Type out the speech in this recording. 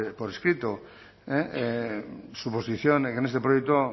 por escrito su posición en este proyecto